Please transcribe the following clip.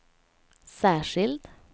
särskild